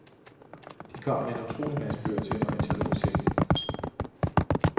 De kom med en utrolig masse bøger til mig, mens jeg lå i sengen.